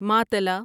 ماتلا